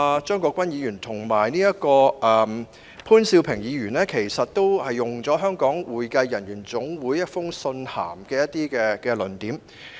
張國鈞議員和潘兆平議員剛才均引用了香港會計人員總會提交的意見書中的一些論點。